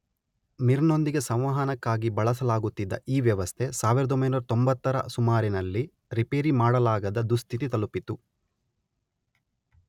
ಮಿರ್ ನೊಂದಿಗೆ ಸಂವಹನಕ್ಕಾಗಿ ಬಳಸಲಾಗುತ್ತಿದ್ದ ಈ ವ್ಯವಸ್ಥೆ ಸಾವಿರದೊಂಬೈನೂರ ತೊಂಬತ್ತರ ಸುಮಾರಿನಲ್ಲಿ ರಿಪೇರಿ ಮಾಡಲಾಗದ ದುಸ್ಥಿತಿ ತಲುಪಿತು.